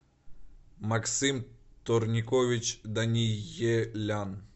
максим турникович даниелян